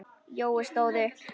Jói stóð upp.